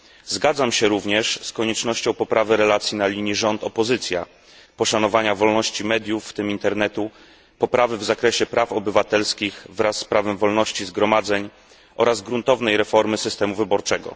Zgadzam się również z koniecznością poprawy relacji na linii rząd opozycja, poszanowania wolności mediów, w tym Internetu, poprawy w zakresie praw obywatelskich wraz z prawem wolności zgromadzeń oraz gruntownej reformy systemu wyborczego.